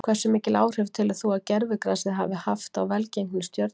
Hversu mikil áhrif telur þú að gervigrasið hafi haft á velgengni Stjörnunnar?